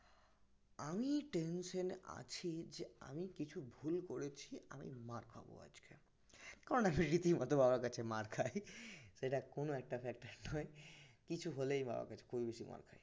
আমি tension এ আছি যে আমি কিছু ভুল করেছি আমি মার খাবো আজকে কারন আমি রীতিমত বাবার কাছে মার খাই সেটা কোন একটা factor নয় কিছু হলেই বাবার কাছে খুবই বেশি মার খাই